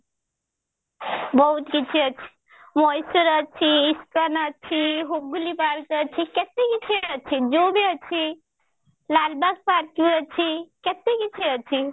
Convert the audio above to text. ବହୁତ କିଛି ଅଛି ମୟୀଶୁର ଅଛି ଇସ୍କନ ଅଛି ହୁଗୁଳି park ଅଛି କେତେ କିଛି ଅଛି zoo ବି ଅଛି ଲାଲବାଗ park ବି ଅଛି କେତେ କିଛି ଅଛି